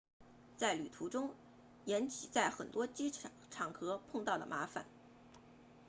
在旅途中岩崎在很多场合碰到了麻烦